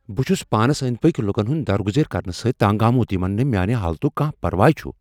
بہٕ چُھس پانس أندۍ پٕكۍ لوکن ہنٛد درگُزیر كرنہٕ سٕتۍ تنگ آمُت یمن نہٕ میانہِ حالتک كانہہ پرواہ چُھ ۔